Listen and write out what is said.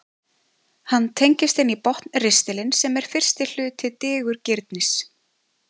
hann tengist inn í botnristilinn sem er fyrsti hluti digurgirnis